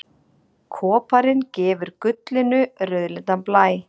Koparinn gefur gullinu rauðleitan blæ.